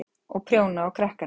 Og prjóna á krakkana.